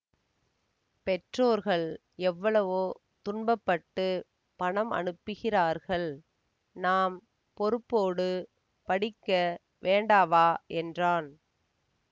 பெற்றோர்கள் எவ்வளவோ துன்பப்பட்டுப் பணம் அனுப்புகிறார்கள் நாம் பொறுப்போடு படிக்க வேண்டாவா என்றான்